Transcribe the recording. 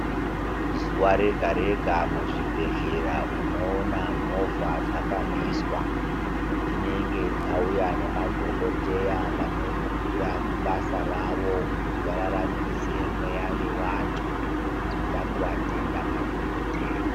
Zuva rega rega mu zvibhedhlera unoona movha dzakamiswa dzinenge dzauya ne madhokoteya vano mukira kubasa ravo kuti va raramise mweya ye vantu tinoda kuvatenda madhokoteya.